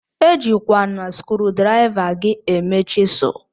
Ejikwana skrudriva gi eme chisul.